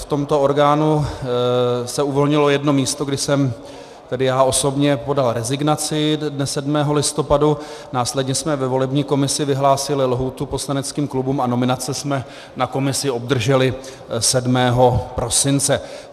V tomto orgánu se uvolnilo jedno místo, kdy jsem tedy já osobně podal rezignaci dne 7. listopadu, následně jsme ve volební komisi vyhlásili lhůtu poslaneckým klubům a nominace jsme na komisi obdrželi 7. prosince.